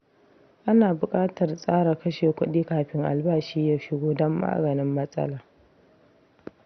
Ana buƙatar tsara kashe kuɗi kafin albashi ya shigo don maganin matsala.